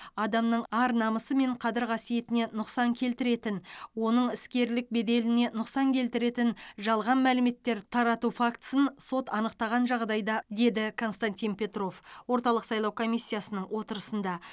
адамның ар намысы мен қадір қасиетіне нұқсан келтіретін оның іскерлік беделіне нұқсан келтіретін жалған мәліметтер тарату фактісін сот анықтаған жағдайда деді константин петров орталық сайлау комиссиясының отырысында